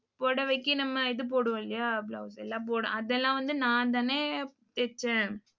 புடவைக்கு நம்ம இது போடுவோம் இல்லையா? blouse எல்லாம் போட அதெல்லாம் வந்து நான்தானே தெச்சேன்.